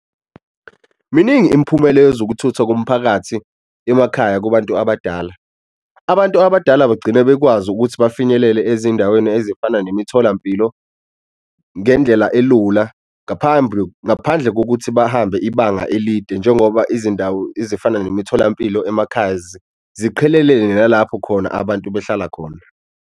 Miningi imiphumela yezokuthuthwa komphakathi emakhaya kubantu abadala, abantu abadala bagcine bekwazi ukuthi bafinyelele ezindaweni ezifana nemitholampilo ngendlela elula ngaphambi ngaphandle kokuthi bahambe ibanga elide. Njengoba izindawo ezifana nemitholampilo emakhaya ziqhelelene nalapho khona abantu behlala khona.